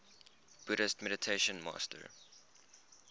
buddhist meditation master